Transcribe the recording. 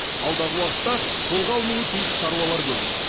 алдағы уақытта қолға алынуы тиіс шаруалар көп